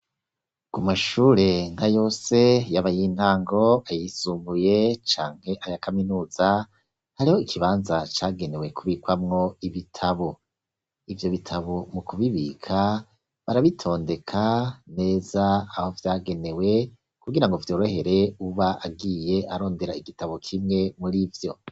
Ku mashure nka yose yaba ayintango, ayisumuye, canke aya kaminuza hariho ikibanza cagenewe kubikwamwo ibitabo. Ivyo bitabo mu kubibika barabitondeka neza aho vyagenewe kubwira ngo vyorohere uwuba agiye arondera igitabo kimwe muri vyo.